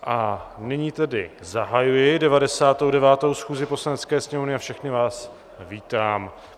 A nyní tedy zahajuji 99. schůzi Poslanecké sněmovny a všechny vás vítám.